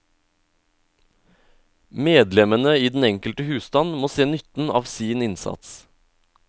Medlemmene i den enkelte husstand må se nytten av sin innsats.